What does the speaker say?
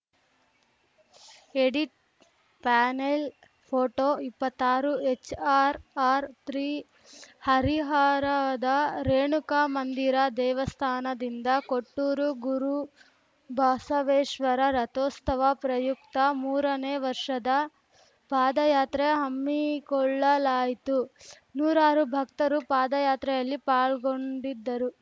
edit panel photo ಇಪ್ಪತ್ತಾರುಎಚ್‌ಆರ್‌ಆರ್‌ತ್ರೀ ಹರಿಹರದ ರೇಣುಕಾ ಮಂದಿರ ದೇವಸ್ಥಾನದಿಂದ ಕೊಟ್ಟೂರು ಗುರುಬಸವೇಶ್ವರ ರಥೋಸ್ತವ ಪ್ರಯುಕ್ತ ಮೂರನೇ ವರ್ಷದ ಪಾದಯಾತ್ರೆ ಹಮ್ಮಿಕೊಳ್ಳಲಾಯಿತು ನೂರಾರು ಭಕ್ತರು ಪಾದಯಾತ್ರೆಯಲ್ಲಿ ಪಾಲ್ಗೊಂಡಿದ್ದರು